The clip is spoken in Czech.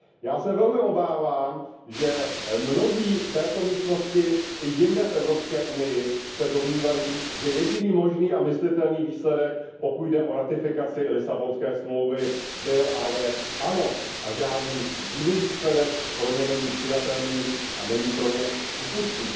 Já se velmi obávám, že mnozí v této místnosti i jinde v Evropské unii se domnívají, že jediný možný a myslitelný výsledek, pokud jde o ratifikaci Lisabonské smlouvy, byl a je ano a žádný jiný výsledek pro ně není přijatelný a není pro ně přípustný.